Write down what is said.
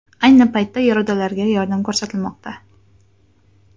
Ayni paytda yaradorlarga yordam ko‘rsatilmoqda.